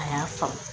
A y'a faamu